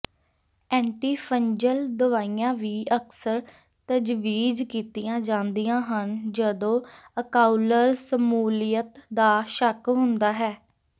antifungal ਦਵਾਈਆਂ ਵੀ ਅਕਸਰ ਤਜਵੀਜ਼ ਕੀਤੀਆਂ ਜਾਂਦੀਆਂ ਹਨ ਜਦੋਂ ਆਕਊਲਰ ਸ਼ਮੂਲੀਅਤ ਦਾ ਸ਼ੱਕ ਹੁੰਦਾ ਹੈ